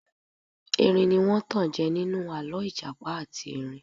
Erin ní wọ́n tanjẹ ninu alọ ìjàpá àti erin.